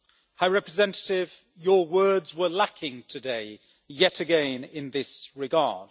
High Representative, your words were lacking today, yet again in this regard.